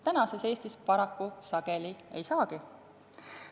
Tänases Eestis paraku sageli ei saagi.